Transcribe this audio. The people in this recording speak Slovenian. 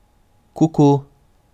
Kuku.